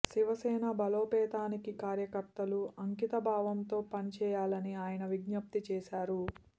శివసేన బలోపేతానికి కార్యకర్తలు అంకిత భావంతో పని చేయాలని ఆయన విజ్ఞప్తి చేశారు